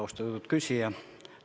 Austatud küsija!